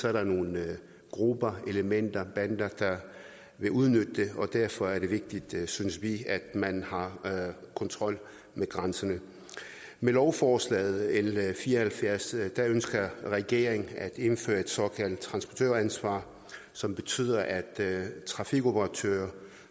er der nogle grupper elementer bander der vil udnytte det derfor er det vigtigt synes vi at man har kontrol med grænserne med lovforslag l fire og halvfjerds ønsker regeringen at indføre et såkaldt transportøransvar som betyder at trafikoperatører